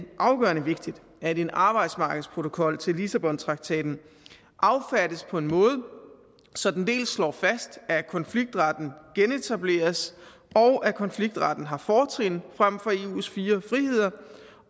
afgørende vigtigt at en arbejdsmarkedsprotokol til lissabontraktaten affattes på en måde så den dels slår fast at konfliktretten genetableres og at konfliktretten har fortrin frem for eus fire friheder